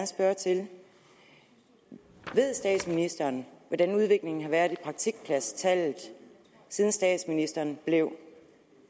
spørge til ved statsministeren hvordan udviklingen har været i praktikpladstallet siden statsministeren blev